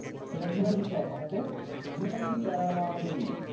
সেটা কিভাবে লিখবা খাতাতে? দুই parallel দুই।